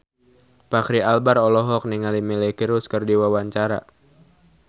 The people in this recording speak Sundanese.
Fachri Albar olohok ningali Miley Cyrus keur diwawancara